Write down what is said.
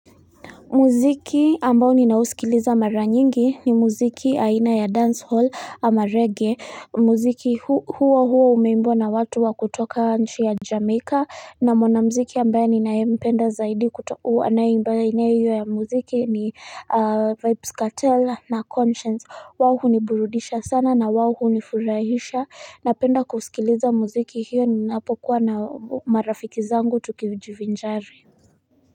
Mziki ambao ninausikiliza mara nyingi ni muziki aina ya dancehall ama reggae mziki huu hua umeimbwa na watu wa kutoka nchi ya jamaica na mwanamziki ambaye ninayempenda zaidi kutokuwa anaimbaye aina hiyo ya muziki ni vybz kartel na konshens wao huniburudisha sana na wao hunifurahisha napenda kusikiliza mziki hiyo ninapokuwa na marafiki zangu tukijivinjari.